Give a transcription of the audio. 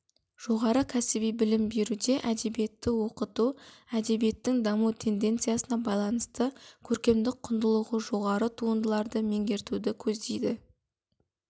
жоғары кәсіби білім беруде әдебиетті оқыту әдебиеттің даму тенденциясына байланысты көркемдік құндылығы жоғары туындыларды меңгертуді көздейді